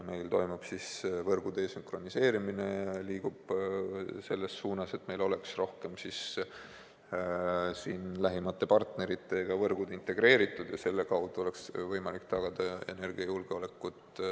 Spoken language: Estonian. Meil toimub võrgu desünkroniseerimine, mis liigub selles suunas, et meie võrgud oleks lähimate partneritega rohkem integreeritud ja selle kaudu oleks võimalik tagada energiajulgeolek.